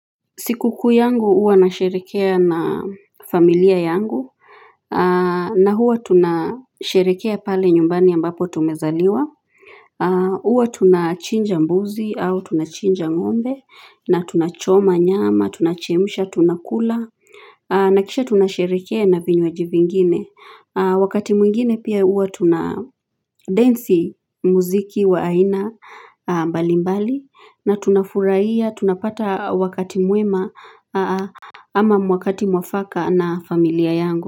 Siku kuu yangu huwa nasherehekea na familia yangu na huwa tunasherehekea pale nyumbani ambapo tumezaliwa huwa tunachinja mbuzi au tunachinja ngombe na tunachoma nyama, tunachemsha, tunakula na kisha tunasherehekea na vinywaji vingine Wakati mwingine pia huwa tunadensi mziki wa aina mbalimbali na tuna furahia tunapata wakati mwema ama wakati mwafaka na familia yangu.